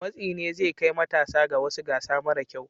Matsi ne zai kai matasa ga wasu gasa mara kyau.